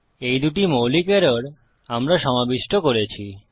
এই দুটি মৌলিক এরর আমরা সমাবিষ্ট করেছি